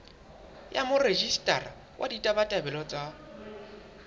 ya morejistara wa ditabatabelo tsa